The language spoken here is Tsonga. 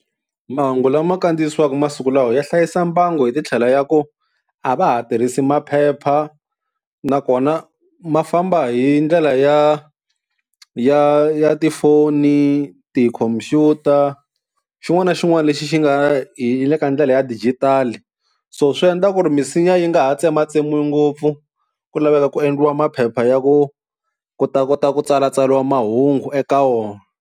Mahungu lama kandziyisiwaka masiku lawa ya hlayisa mbangu hi titlhelo ya ku a va ha tirhisi maphepha, nakona ma famba hi ndlela ya ya ya tifoni tikhompyuta xin'wana na xin'wana lexi xi nga hi le ka ndlela ya dijitali, so swi endla ku ri misinya yi nga ha tsematsemiwi ngopfu ku laveka ku endliwa maphepha ya ku ku ta kota ku tsalatsariwa mahungu eka wona.